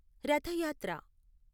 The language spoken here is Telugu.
రథ యాత్ర